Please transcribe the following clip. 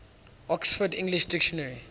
oxford english dictionary